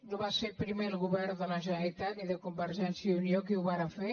no va ser primer el govern de la generalitat ni de convergència i unió qui ho va fer